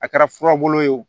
A kɛra fura bolo ye o